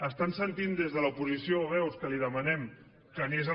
estan sentint des de l’oposició veus que li demanem que ni és el